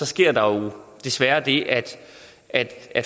sker der jo desværre det at